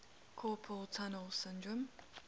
carpal tunnel syndrome